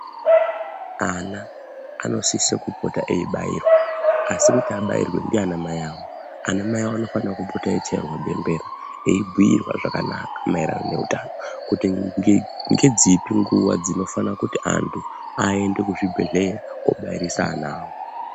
Ana anosise kupota eibairwa ,asi kuti aabairwi ndianamai awo. Anamai awo anofanira kupota eichairwa bembera eibhuirwa zvakanaka maererano neutano kuti ngedzipi nguwa dzinofana kuti anthu aende kuzvibhedhleya oobairisa ana awo.